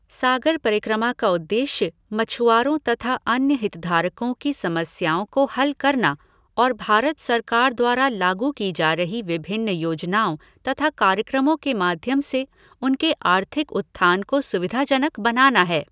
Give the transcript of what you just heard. सागर परिक्रमा का उद्देश्य मुछआरों तथा अन्य हितधारकों की समस्याओं को हल करना और भारत सरकार द्वारा लागू की जा रही विभिन्न योजनाओं तथा कार्यक्रमों के माध्यम से उनके आर्थिक उत्थान को सुविधाजनक बनाना है